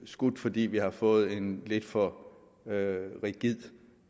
skudt fordi vi har fået en lidt for rigid